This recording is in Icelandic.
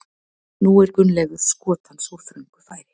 Nú er Gunnleifur skot hans úr þröngu færi.